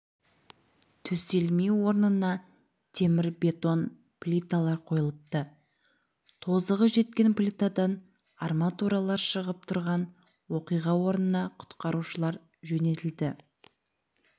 төселмей орнына темірбетон плиталар қойылыпты тозығы жеткен плитадан арматуралар шығып тұрған оқиға орнына құтқарушылар жөнелтілді